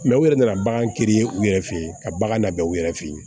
u yɛrɛ nana bagan teri u yɛrɛ fe ye ka bagan na u yɛrɛ fe ye